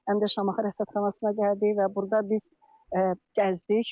Həm də Şamaxı Rəsədxanasına gəldik və burda biz gəzdik.